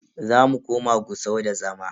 Zamu koma Gusau da zama.